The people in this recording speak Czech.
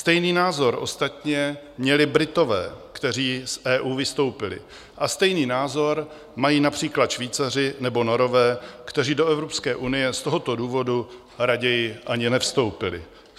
Stejný názor ostatně měli Britové, kteří z EU vystoupili, a stejný názor mají například Švýcaři nebo Norové, kteří do Evropské unie z tohoto důvodu raději ani nevstoupili.